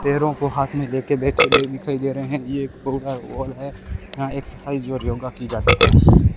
पैरों को हाथ में लेके बैठे दिखाई दे रहे हैं ये एक बहुत बड़ा हॉल है यहां एक्सरसाइज और योग की जाती है।